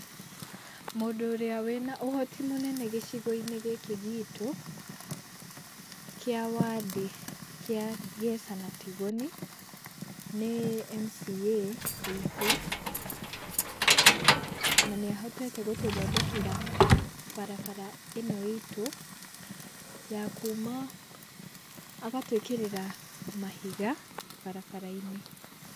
Mũndũ ũrĩa wĩna ũhoti mũnene gĩcigo-inĩ gĩkĩ gitũ kĩa Wandĩ, kĩa Ngeca na Tigoni nĩ MCA witũ, nanĩ ahotete gũtũthondekera barabara ĩno itũ ya kuma, agatwĩkĩrĩra mahiga barabara-inĩ.